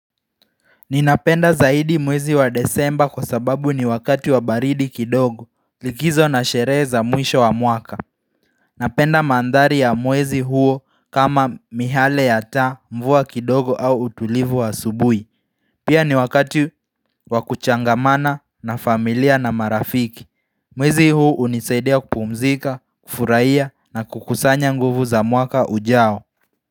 Ninapenda zaidi mwezi wa desemba kwa sababu ni wakati wa baridi kidogo, likizo na sherehe za mwisho wa mwaka. Napenda mandhari ya mwezi huo kama mihale ya taa, mvua kidogo au utulivu wa asubuhi. Pia ni wakati.wa kuchangamana na familia na marafiki. Mwezi huu hunisaidia kupumzika, kufurahia na kukusanya nguvu za mwaka ujao.